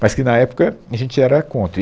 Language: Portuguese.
Mas que, na época, a gente era contra, e